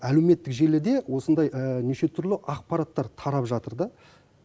әлеуметтік желіде осындай неше түрлі ақпараттар тарап жатыр да